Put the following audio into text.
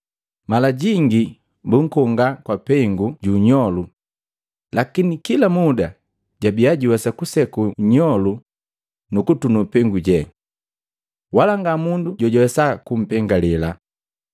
mala jingi bunkonga kwa peengu ju nnyolu lakini kila muda jabia juwesa kuseku nnyolu nu kutunu peengu je. Wala ngamundu jojuwesa kumpengalela.